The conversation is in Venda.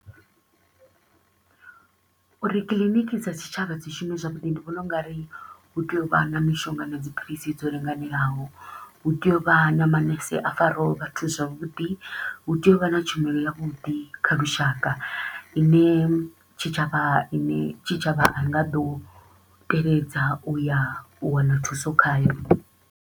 Uri clinic dza tshitshavha dzi shume zwavhuḓi ndi vhona u nga ri hu tea u vha na mishonga na dziphilisi dzo linganelaho. Hu tea u vha na manese a faraho vhathu zwavhuḓi, hu tea u vha na tshumelo ya vhuḓi kha lushaka i ne tshitshavha i ne tshitshavha a i nga ḓo teledza u ya u wana thuso khayo.